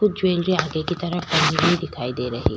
कुछ जेवएलरी आगे की तरफ फैली हुई दिखाई दे रही --